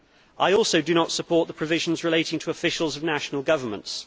I do not support the provisions relating to officials of national governments.